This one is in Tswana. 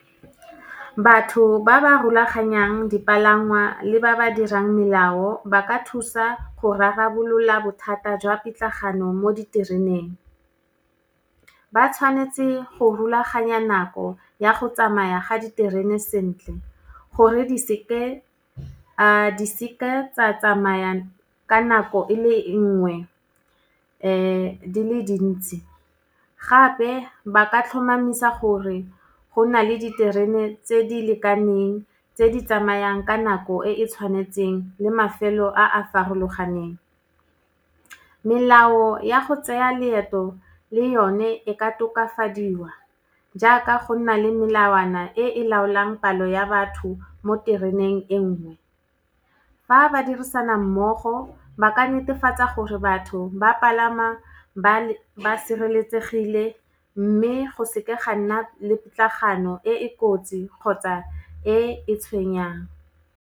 Batho ba ba rulaganyang dipalangwa le ba ba dirang melao ba ka thusa go rarabolola bothata jwa pitlagano mo ditereneng. Ba tshwanetse go rulaganya nako ya go tsamaya ga diterene sentle, gore di seke tsa tsamaya ka nako e le nngwe di le dintsi. Gape, ba ka tlhomamisa gore go na le diterene tse di lekaneng tse di tsamayang ka nako e e tshwanetseng, le mafelo a a farologaneng. Melao ya go tseya leeto, le yone e ka tokafadiwa, jaaka go nna le melawana e e laolang palo ya batho mo tereneng e nngwe. Fa ba dirisana mmogo, ba ka netefatsa gore batho ba palama ba sireletsegile, mme go seke ga nna le pitlagano e e kotsi kgotsa e e tshwenyang.